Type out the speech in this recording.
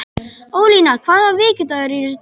Ólína, hvaða vikudagur er í dag?